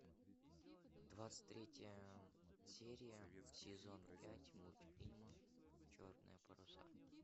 двадцать третья серия сезон пять мультфильма черные паруса